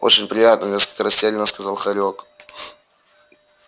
очень приятно несколько растерянно сказал хорёк